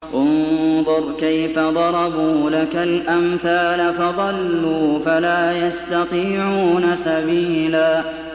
انظُرْ كَيْفَ ضَرَبُوا لَكَ الْأَمْثَالَ فَضَلُّوا فَلَا يَسْتَطِيعُونَ سَبِيلًا